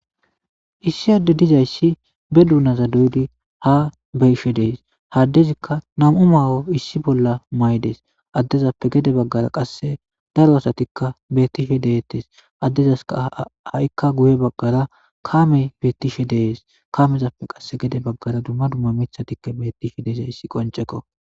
Issi adde dizayssi be duunaza duyudi ha beyishe dees haddezikka nam'u maawo issi bolla may'des addezappe gede baggara qasse daro asatikka bettishe deettes addezaska ha'ikka guye baggara kamey bettishe dees kamezappe qasse gede baggara dumma dumma mithatikka bettishe dezayssi qoncekko.